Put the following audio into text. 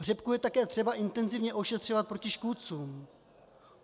Řepku je také třeba intenzivně ošetřovat proti škůdcům.